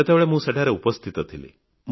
ସେତେବେଳେ ମଁ ସେଠାରେ ଉପସ୍ଥିତ ଥିଲି